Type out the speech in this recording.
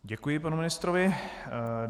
Děkuji panu ministrovi.